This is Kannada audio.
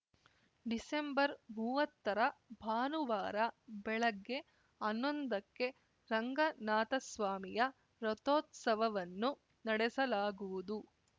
ಡಿಸೆಂಬರ್ಮುವತ್ತರ ಭಾನುವಾರ ಬೆಳಗ್ಗೆ ಹನ್ನೊಂದಕ್ಕೆ ರಂಗನಾಥಸ್ವಾಮಿಯ ರಥೋತ್ಸವವನ್ನು ನಡೆಸಲಾಗುವುದು